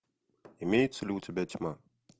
имеется ли у тебя тьма